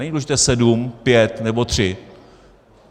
Není důležité sedm, pět nebo tři.